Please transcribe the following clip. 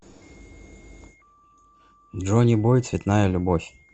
джонибой цветная любовь